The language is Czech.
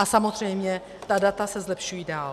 A samozřejmě ta data se zlepšují dál.